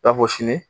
I n'a fɔ sini